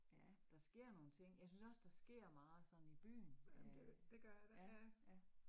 Ja, der sker nogle ting. Jeg synes også, der sker meget sådan i byen øh ja ja